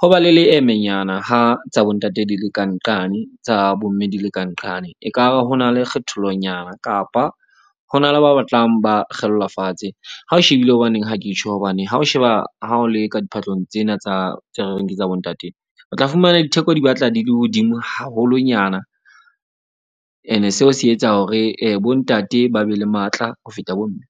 ho ba le leemenyana ha tsa bo ntate, di le kanqane tsa bo mme, di le ka nqane. Ekare ho na le kgethollonyana kapa ho na le ba batlang ba kgellwa fatshe. Ha o shebile, hobaneng ha ke tjho. Hobane ha o sheba ha o le ka diphahlong tsena tsa tse re reng ke tsa bo ntate. O tla fumana ditheko di batla di le hodimo haholonyana. Ene seo se etsa hore bo ntate ba be le matla ho feta bo mme.